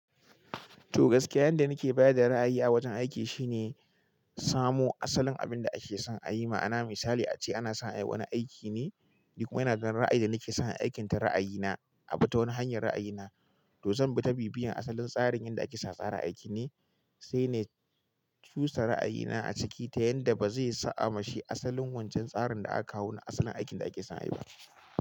To gaskiya yanda nake baya da ra'ayi a wajen aiki shine, samo asalin abinda ake son a yi. Ma'ana misali ace ana son a yi wani aiki ne, ni kuma ina ɗan ra'ayi da nake son a yi aikin ta ra'ayi na, a bi ta wani hanyar ra'ayi na, to zan bi ta bibiya asalin tsarin inda ake sa tsara aiki ne, sai ne cusa ra'ayi na a ciki ta yanda bazai sa'a mashi asalin wancan tsarin da aka kawo na asalin aikin da ake son a yi ba.